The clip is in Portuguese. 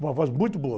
Uma voz muito boa.